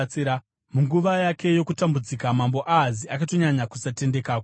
Munguva yake yokutambudzika mambo Ahazi akatonyanya kusatendeka kuna Jehovha.